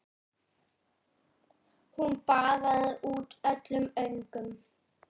Hún baðaði út öllum öngum.